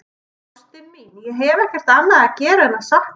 Ástin mín, ég hef ekkert annað að gera en að sakna þín.